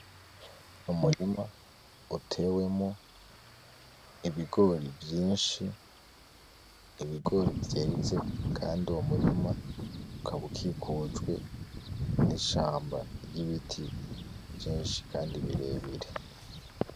Umurima utewemwo ibigori vyinshi, ibigori vyeze kandi uwo murima ukaba ukikujwe n'ishamba ry'ibiti vyinshi kandi birebire.